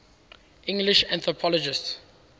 english anthropologists